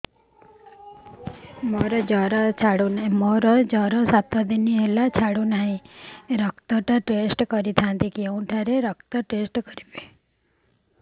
ମୋରୋ ସାତ ଦିନ ହେଲା ଜ୍ଵର ଛାଡୁନାହିଁ ରକ୍ତ ଟା ଟେଷ୍ଟ କରିଥାନ୍ତି କେଉଁଠି ରକ୍ତ ଟେଷ୍ଟ କରା ଯାଉଛି